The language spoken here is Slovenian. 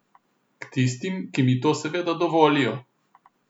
K tistim, ki mi to seveda dovolijo.